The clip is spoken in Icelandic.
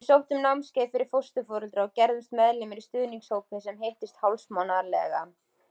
Við sóttum námskeið fyrir fósturforeldra og gerðumst meðlimir í stuðningshópi sem hittist hálfsmánaðarlega.